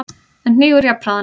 en hnígur jafnharðan.